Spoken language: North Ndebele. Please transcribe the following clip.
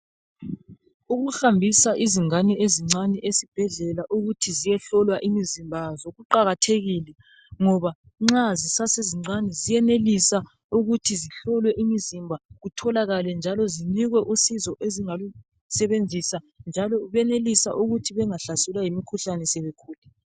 Ukuhambisa izingane ezincane ezibhedlela ukuthi ziyehlolwa imizimba yazo kuqakathekile ngoba nxa zisasezincane ziyenelisa ukuthi zihlolwe imizimba kutholakale njalo zinikwe usizo ezingalusebenzisa njalo benelise ukuthi bengahlaselwa yimikhuhlane sebekhulile